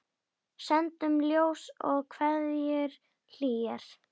Sendum ljós og kveðjur hlýjar.